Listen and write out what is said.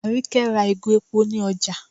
Àríkẹ́ ra ìgò epo ní ọjá